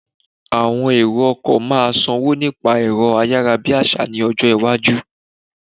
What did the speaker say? Àwọn èrò ọkọ̀ maaa sanwó nípa ẹ̀rọ ayarabiasa ní ọjọ́ iwájú